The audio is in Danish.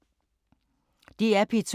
DR P2